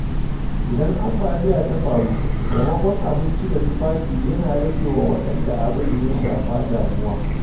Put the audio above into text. Idan ambaliya ta faru, taimakon abinci da tufafi yana rage wa waɗanda abin ya shafa damuwa.